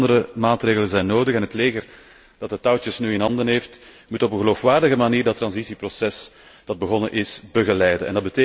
Vele andere maatregelen zijn nodig, en het leger, dat de touwtjes nu in handen heeft, moet op een geloofwaardige manier het overgangsproces dat begonnen is begeleiden.